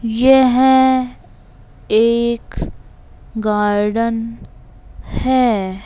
यह एक गार्डन है।